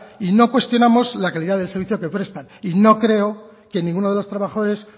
y no cuestionamos la calidad del servicio que prestan y no creo que ninguno de los trabajadores